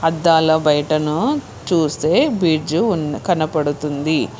అద్దాల బయటను చుస్తే బిడ్జు కనపడతుంది.